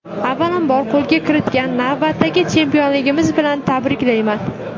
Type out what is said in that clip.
Avvalambor, qo‘lga kiritgan navbatdagi chempionligingiz bilan tabriklayman.